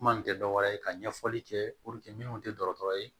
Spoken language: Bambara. Kuma in tɛ dɔwɛrɛ ye ka ɲɛfɔli kɛ min tɛ dɔgɔtɔrɔ ye